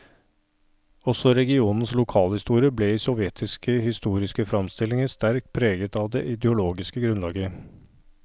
Også regionens lokalhistorie ble i sovjetiske historiske framstillinger sterkt preget av det ideologiske grunnlaget.